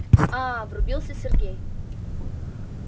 а-а-а-а врубился сергей